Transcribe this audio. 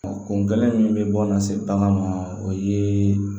kun kɛlen min bɛ bɔ lase bange ma o ye